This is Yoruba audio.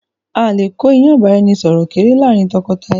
Áà lè kó ìyàn ìbáraẹnisọọ̀rọ̀ kéré láàrin tọkọtaya